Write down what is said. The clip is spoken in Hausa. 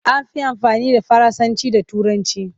An fi amfani da Faransanci da Turanci.